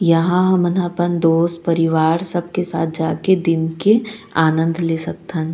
यहाँ हमन ह अपन दोस्त परिवार सबके साथ जाके दिन के आनंद ले सकथन --